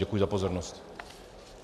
Děkuji za pozornost.